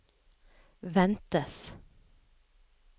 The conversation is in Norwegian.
ventes